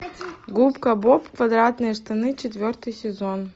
губка боб квадратные штаны четвертый сезон